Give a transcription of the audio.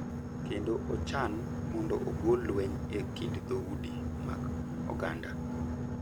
Kendo ochan mondo ogol lweny e kind dhoudi mag oganda